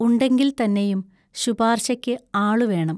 ഉണ്ടെങ്കിൽത്തന്നെയും ശുപാർശയ്ക്ക് ആളു വേണം.